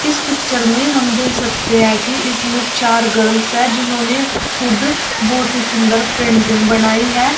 इस पिक्चर में हम दे सकते है कि इसमें चार गर्ल्स है जिन्होंने खुद बहुत ही सुंदर पेंटिंग बनाई है।